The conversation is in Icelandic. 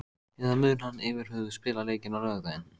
Eða mun hann yfirhöfuð spila leikinn á laugardag?